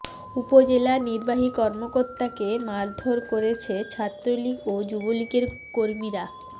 উপজেলা নির্বাহী কর্মকর্তাকে মারধর করেছে ছাত্রলীগ ও যুবলীগের কর্মীরা